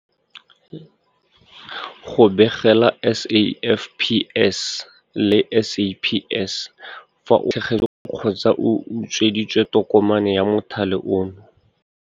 Go begela SAFPS le SAPS fa o latlhegetswe kgotsa o utsweditswe tokomane ya mothale ono.